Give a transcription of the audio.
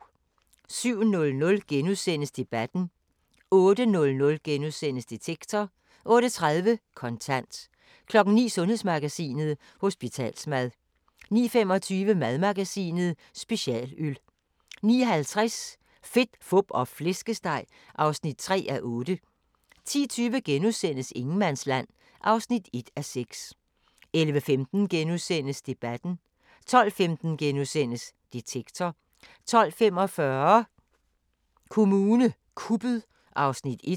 07:00: Debatten * 08:00: Detektor * 08:30: Kontant 09:00: Sundhedsmagasinet: Hospitalsmad 09:25: Madmagasinet: Specialøl 09:50: Fedt, Fup og Flæskesteg (3:8) 10:20: Ingenmandsland (1:6)* 11:15: Debatten * 12:15: Detektor * 12:45: Kommune kuppet (1:2)